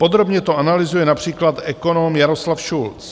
Podrobně to analyzuje například ekonom Jaroslav Šulc.